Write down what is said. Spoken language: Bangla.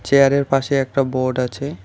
চেয়ার -এর পাশে একটা বোর্ড আছে।